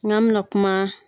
N'an bɛnaɛ kuma